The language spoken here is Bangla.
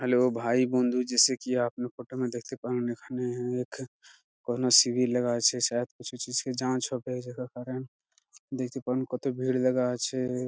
হ্যালো ভাই বন্ধু জাইসে কি আপনি প্রথমে দেখতে পান এখানে এক কোনো সিঁড়ি লাগানো আছে | সায়েদ দেখতে পান কত ভিড় লাগা আছে ।